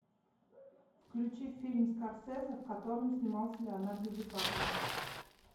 включи фильм скорсезе в котором снимался леонардо ди каприо